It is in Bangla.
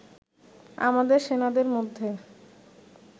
আমাদের সেনাদের মধ্যে